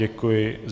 Děkuji.